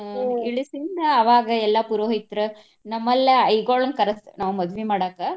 ಆಹ್ ಇಳಸಿಂದ ಎಲ್ಲಾ ಪುರೋಹಿತ್ರ ನಮ್ಮ್ ಲ್ಲಿ ಐಗೊಳ್ನ ಕರ್ಸ್ತ~ ನಾವ್ ಮದ್ವಿ ಮಾಡಾಕ.